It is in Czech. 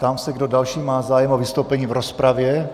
Ptám se, kdo další má zájem o vystoupení v rozpravě.